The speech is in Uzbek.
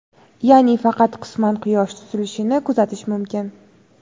ya’ni faqat qisman Quyosh tutilishini kuzatish mumkin.